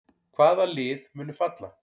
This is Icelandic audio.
Hvaða lið munu falla?